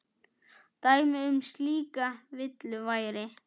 Dæmi um slíka villu væri